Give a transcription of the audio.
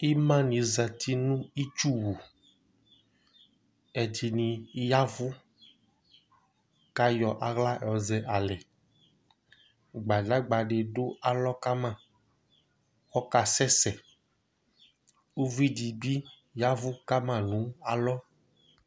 Ima ni zɛ nʋ itsʋ wu Ɛdiní yavʋ kʋ ayɔ aɣla alɛ Gbadagba di du alɔ akama, ɔkasɛsɛ Ʋvidí bi yavʋ kama nʋ alɔ